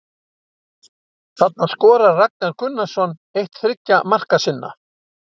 Þarna skorar Ragnar Gunnarsson eitt þriggja marka sinna